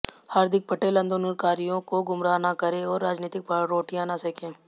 हार्दिक पटेल आंदोलनकारियों को गुमराह न करें और राजनीतिक रोटियां न सेके